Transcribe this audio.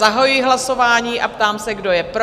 Zahajuji hlasování a ptám se, kdo je pro?